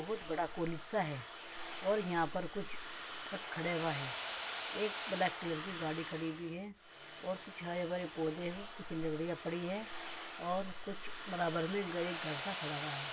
बहुत बड़ा कोलिसा है और यहाँ पर कुछ ट्रक खड़ा हुआ है एक ब्लैक कलर की गाड़ी खड़ी हुई है और कुछ हरे भरे पौधे हैं कुछ लकड़ियां पड़ी है और कुछ बराबर में खड़ा हुआ है।